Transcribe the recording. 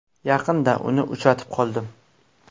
Yaqinda uni uchratib qoldim.